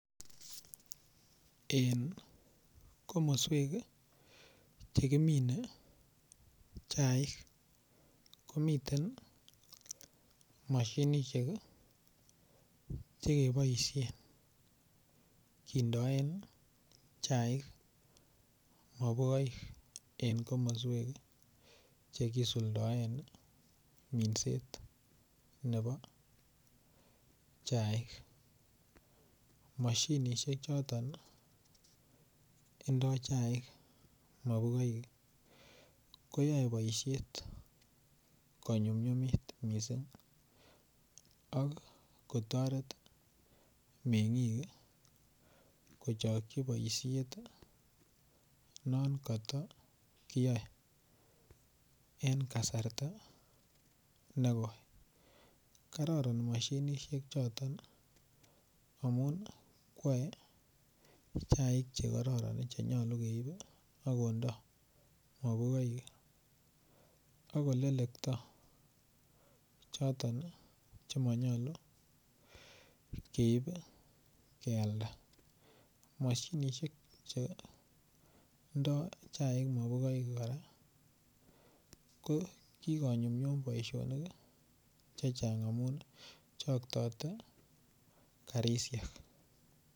En komoswek chekimine chaik komiten mashinishek chekeboishen kindoen chaik mopukoik eng komoswek che kisuldaen minset nebo chaik mashinishek choton indoi chaik mopukoik koyoe boishet konyumnyumit mising ak kotoret meng'ik kochokchi boishet non katakiyae eng kasarta nekoi kororon mashinishek choton amu kwe chaik chekororon chenyolu keip akondai mopukoik akolelekto choton chemanyolu keip kealda mashinishek chendai chaik mopukoik kora ko kikonyumnyum boishonik che chang amun choktote karishek.